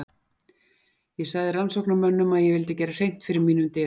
Ég sagði rannsóknarmönnum að ég vildi gera hreint fyrir mínum dyrum.